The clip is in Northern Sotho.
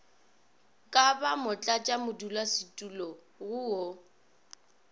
ka ba motlatšamodulasetulo go wo